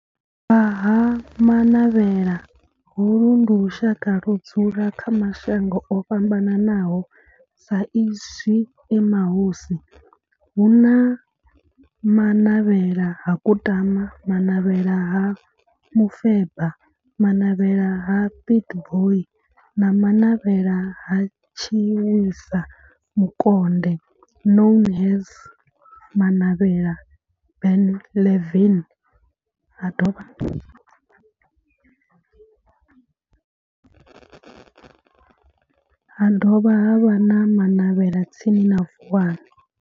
Vha Ha Manavhela, holu ndi lushaka ludzula kha mashango ofhambanaho sa izwi e mahosi, hu na Manavhela ha Kutama, Manavhela ha Mufeba, Manavhela ha Pietboi na Manavhela ha Tshiwisa Mukonde known as Manavhela Benlavin, ha dovha havha na Manavhela tsini na Vuwani.